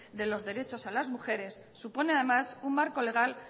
de los derechos a las mujeres supone además un marco legal